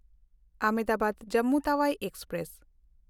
ᱟᱦᱚᱢᱫᱟᱵᱟᱫ–ᱡᱚᱢᱢᱩ Tawi express